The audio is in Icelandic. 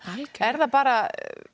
er það bara